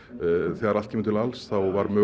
þegar allt kemur til alls var